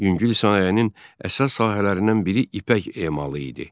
Yüngül sənayenin əsas sahələrindən biri ipək emalı idi.